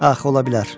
Ax, ola bilər.